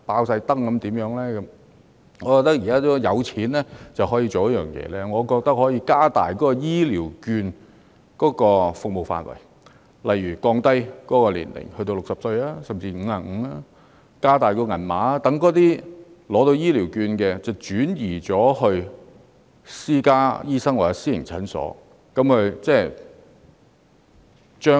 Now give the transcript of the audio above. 政府現在有錢，可以做一件事，就是加大醫療券的服務範圍，例如降低適用年齡至60歲甚至55歲，增加醫療券金額，讓醫療券持有人轉到私家醫院或診所。